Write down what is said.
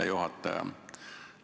Hea juhataja!